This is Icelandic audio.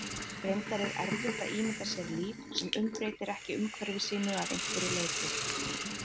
Reyndar er erfitt að ímynda sér líf sem umbreytir ekki umhverfi sínu að einhverju leyti.